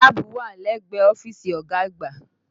Láàbù wà lẹ́gbẹ̀ẹ́ ọ́fíìsì ọ̀gá àgbà